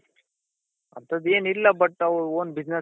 ಅಂತಂದ್ ಏನು ಇಲ್ಲ but ಅವ್ರು own business